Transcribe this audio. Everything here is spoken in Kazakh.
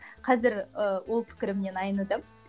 қазір ыыы ол пікірімнен айныдым